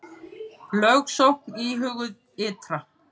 Lögsókn íhuguð ytra